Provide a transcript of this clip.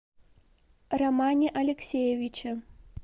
романе алексеевиче